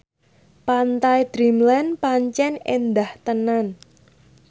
Pantai Dreamland pancen endah tenan